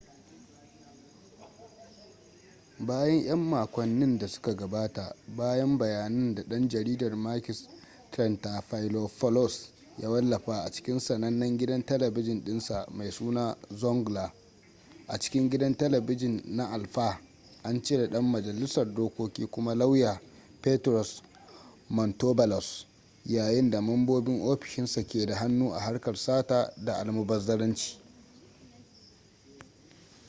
bayan 'yan makonnin da suka gabata bayan bayanan da dan jaridar makis triantafylopoulos ya wallafa a cikin sanannen gidan talabijin dinsa mai suna zoungla” a cikin gidan talabijin na alpha an cire dan majalisar dokoki kuma lauya petros mantouvalos yayin da mambobin ofishinsa ke da hannu a harkar sata da almubazzaranci.